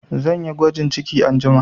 Zan yi gwajin ciki anjima